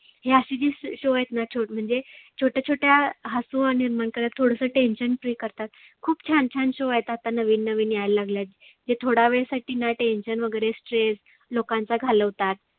हे असे जे show आहेत ना छो म्हणजे छोट्या छोट्या हसु निर्मान करत थोडसं tension free करतात. खुप छान छान आहेत आता नविन नविन यायला लागल्यात. जे थोडा वेळ साठी ना tension वगैरे stress लोकांचा घालवतात.